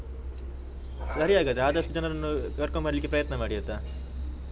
ಸರಿ ಹಾಗಾದ್ರೆ, ಆದಷ್ಟು ಜನರನ್ನು ಕರ್ಕೊಂಡು ಬರ್ಲಿಕ್ಕೆ ಪ್ರಯತ್ನ ಮಾಡಿ ಆಯ್ತಾ?